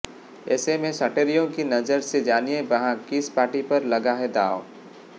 ऐसे में सटोरियों की नजर से जानिए वहां किस पार्टी पर लगा है दांव